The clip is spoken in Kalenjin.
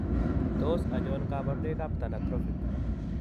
Tos achon kabarunaik ab Thanatophoric ?